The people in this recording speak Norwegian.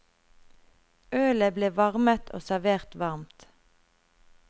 Ølet ble varmet og servert varmt.